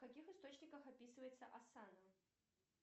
в каких источниках описывается асана